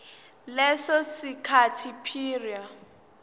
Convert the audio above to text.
leso sikhathi prior